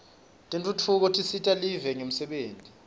tentfutfuko tisita live ngemisebenti